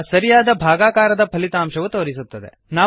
ಈಗ ಸರಿಯಾದ ಭಾಗಾಕಾರದ ಫಲಿತಾಂಶವು ತೋರಿಸುತ್ತದೆ